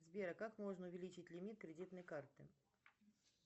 сбер как можно увеличить лимит кредитной карты